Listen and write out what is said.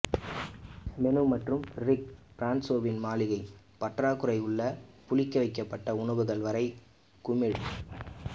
menu மற்றும் Rick ஃபிரான்சோவின் மளிகை பற்றாக்குறை உள்ள புளிக்கவைக்கப்பட்ட உணவுகள் வரை குமிழ்